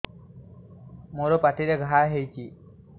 ମୋର ପାଟିରେ ଘା ହେଇଚି